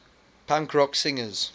punk rock singers